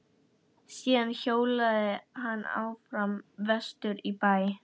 Síðan hjólaði hann áfram vestur í bæ.